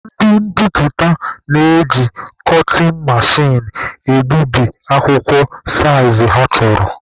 Ndị mbiputa na-eji kọtịn mechin egbubi akwụkwọ saịzị ha chọrọ.